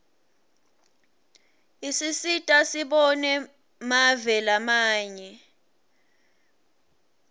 isisita sibone mave lamanye